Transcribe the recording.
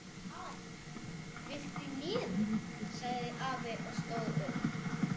Hana, viltu í nefið? sagði afi og stóð upp.